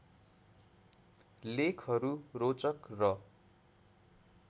लेखहरू रोचक र